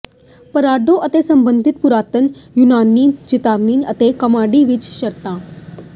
ਪਰਾਡੋ ਅਤੇ ਸੰਬੰਧਿਤ ਪੁਰਾਤਨ ਯੂਨਾਨੀ ਟ੍ਰੇਜਡੀ ਅਤੇ ਕਾਮੇਡੀ ਵਿਚ ਸ਼ਰਤਾਂ